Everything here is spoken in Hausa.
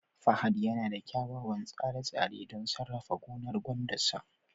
fahad yana da kyawawan tsare-tsare don sarrafa gonar gwandar sa